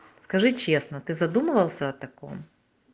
скажи честно ты задумывался о таком